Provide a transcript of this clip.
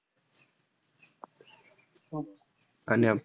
आणि